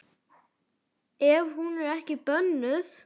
Ef hún er ekki bönnuð.